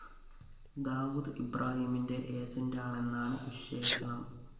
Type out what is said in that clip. ദാവൂദ് ഇബ്രാഹിമിന്റെ ഏജന്റാണെന്നാണ് വിശേഷണം